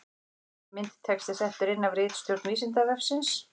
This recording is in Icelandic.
Myndatexti settur inn af ritstjórn Vísindavefsins.